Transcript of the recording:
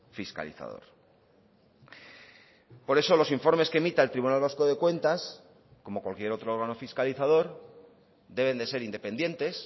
fiscalizador por eso los informes que emita el tribunal vasco de cuentas como cualquier otro órgano fiscalizador deben de ser independientes